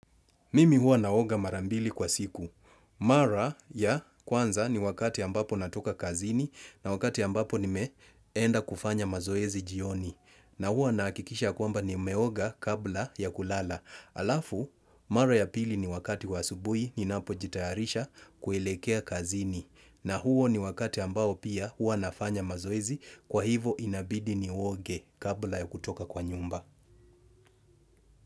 Mimi huwa naoga mara mbili kwa siku. Mara ya kwanza ni wakati ambapo natoka kazini na wakati ambapo nimeenda kufanya mazoezi jioni. Na huwa nahakikisha kwamba nimeoga kabla ya kulala. Alafu, mara ya pili ni wakati wa asubui ninapojitayarisha kuelekea kazini. Na huo ni wakati ambao pia huwa nafanya mazoezi kwa hivo inabidi nioge kabla ya kutoka kwa nyumba.